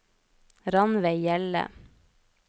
Rannveig Hjelle